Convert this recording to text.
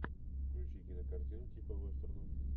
включи кинокартину типа вестерна